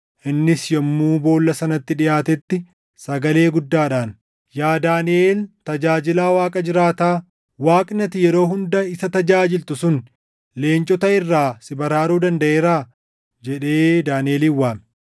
Innis yommuu boolla sanatti dhiʼaatetti sagalee guddaadhaan, “Yaa Daaniʼel tajaajilaa Waaqa jiraataa, Waaqni ati yeroo hunda isa tajaajiltu sun leencota irraa si baraaruu dandaʼeeraa?” jedhee Daaniʼelin waame.